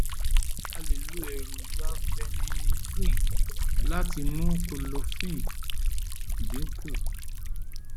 a lè lo èròjà phenylnephrine láti mú kọ́lọ́fínè dín kù